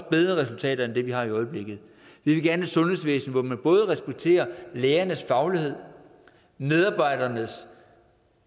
bedre resultater end dem vi oplever i øjeblikket vi vil gerne sundhedsvæsen hvor man både respekterer lægernes faglighed medarbejdernes